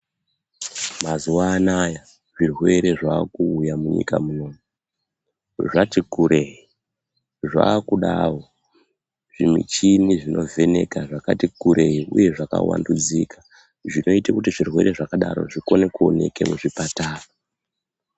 Mazuwa anaya zvirwere zvaakuuya munyika munomu zvati kurei zvakudawo zvimuchini zvinovheneka zvakati kurei uye zvakawandudzika zvinoita kuti zvirwere zvakadaro zvikone kuoneke muzvipatara.